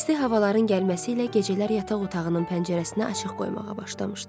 İsti havaların gəlməsi ilə gecələr yataq otağının pəncərəsini açıq qoymağa başlamışdı.